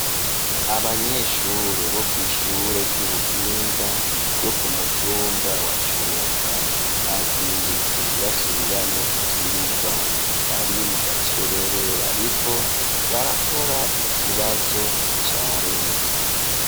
Abanyeshure bo kwishure ry'ubuhinga ryo kumutumba wa cumba bazindutse basubiramwo ivyigwa bari mu gakerere bariko barakora ikibazo ca leta.